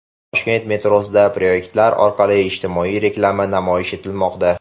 Toshkent metrosida proyektorlar orqali ijtimoiy reklama namoyish etilmoqda.